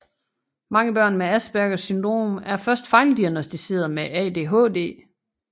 Mange børn med Aspergers syndrom er først fejldiagnosticeret med ADHD